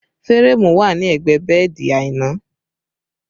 Férémù wà ní ẹgbẹ́ bẹ́ẹ̀dì Aina